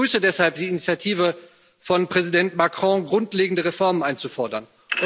Ich begrüße deshalb die Initiative von Präsident Macron, grundlegende Reformen einzufordern.